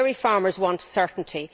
Dairy farmers want certainty.